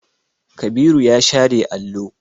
Kabiru ya share allo.